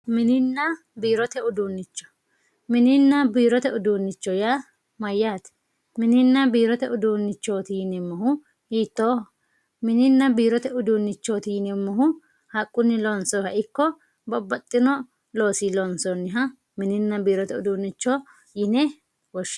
mininna biirote uduunnicho mininna biirote uduunnicho yaa mayyaate mininna biirote uduunnichooti yineemmohu hiittooho mininna biirote uduunnichooti yineemmohu haqqunni loonsoyiiha ikko babbaxxino loosii loonsoonniha mininna biirote uduunnicho yine woshshinanni.